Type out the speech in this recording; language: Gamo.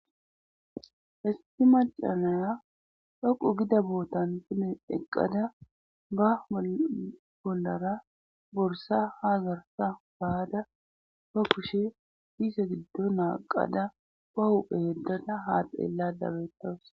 Issi macanaya dhoqu gida bootan tine eqqada ba bollara borsa ha zarsa baada ba kushe diisa giddo naaqada ba huphe yeddada haaxeellada bettawus.